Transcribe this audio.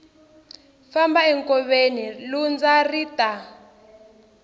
famba enkoveni lundza ri ta